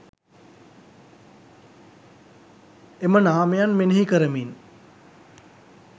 එම නාමයන් මෙනෙහි කරමින්